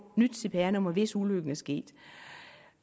nyt cpr nummer hvis ulykken er sket